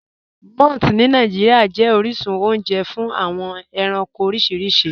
Mọ̀ths ni Nigeria jẹ̀ oríṣun ọ̀unje fún awọn ẹ̀ránkò oríṣiríṣì.